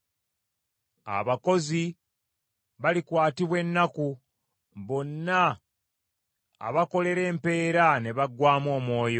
Abakozi balikwatibwa ennaku, bonna abakolera empeera ne baggwaamu omwoyo.